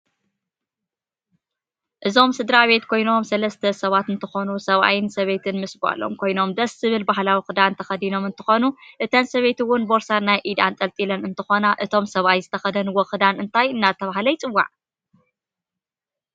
እዞም ስድራቤት ኮይኖም ሰለስተ ሰባት እንትኮኑ ሰባኣይን ሰበይትን ምስ ጋሎም ኮይኖም ድስ ዝብል ባህላዊ ክዳኖም ተከዲናም እንትኮኑ እተን ሰበይቲ እውን ቦርሳ ናይ ኢድ ኣንጥልጥለን እንትኮና እቶም ሰባኣይ ዝተከደንዎ ክዳን እንተይ እዳተበሃለ ይፅዋዕ